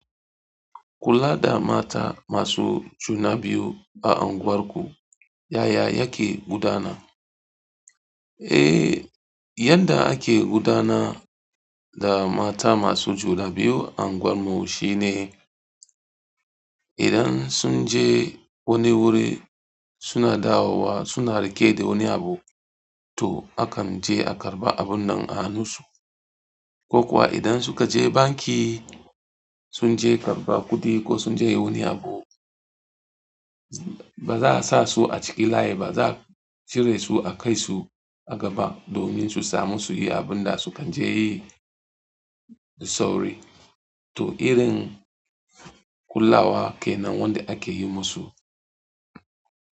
Kula da mata masu juna biyu a unguwarku, yaya yake gudana? Eh, yanda ake gudana da mata masu juna biyu a unguwarmu shine idan sun je wani wuri suna dawowa suna rike da wani abu, to akan je a karɓa abun nan a hannu su, ko kuwa idan suka je banki sun je karɓa kuɗi ko sun je wani abu, ba za'a sa su a cikin layi ba, za'a cire su a kai su a gaba, domin su samu su yi abun da su kan je yi da sauri. To irin kulawa kenan wanda ake yi musu.